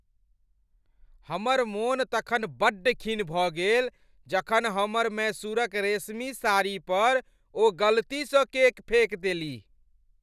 हमर मोन तखन बड्ड खिन्न भऽ गेल जखन हमर मैसूरक रेशमी साड़ीपर ओ गलतीसँ केक फेक देलीह।